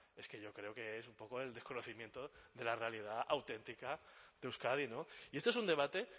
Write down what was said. es que yo creo que es un poco el desconocimiento de la realidad auténtica que de euskadi y este es un debate